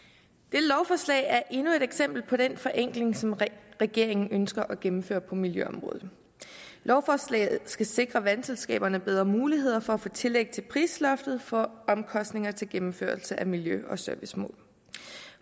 lovforslag er endnu et eksempel på den forenkling som regeringen ønsker at gennemføre på miljøområdet lovforslaget skal sikre vandselskaberne bedre muligheder for at få tillæg til prisloftet for omkostninger til gennemførelse af miljø og servicemål